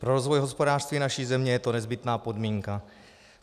Pro rozvoj hospodářství naší země je to nezbytná podmínka.